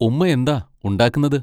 ഉമ്മയെന്താ ഉണ്ടാക്കുന്നത്?